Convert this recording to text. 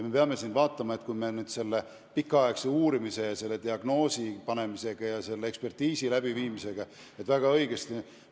Me peame jälgima, et me säärase pikaaegse uurimise, ekspertiisi läbiviimise ja diagnoosi panemisega lapsele liiga ei tee.